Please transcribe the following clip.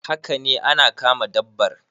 Haka ne ana kama dabbar